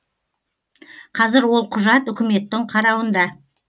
қазір ол құжат үкіметтің қарауында